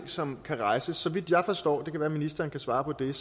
som kan rejses så vidt jeg forstår det kan være at ministeren kan svare på det er